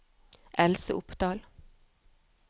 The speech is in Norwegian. Else Opdahl